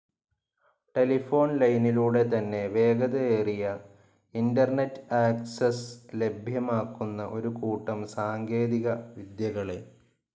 Telephone ലൈനിലൂടെ തന്നെ വേഗതയേറിയ ഇന്റർനെറ്റ്‌ ആക്സസ്‌ ലഭ്യമാക്കുന്ന ഒരു കൂട്ടം സാങ്കേതിക വിദ്യകളെ.